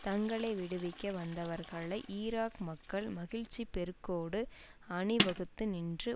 தங்களை விடுவிக்க வந்தவர்களை ஈராக் மக்கள் மகிழ்ச்சி பெருக்கோடு அணிவகுத்து நின்று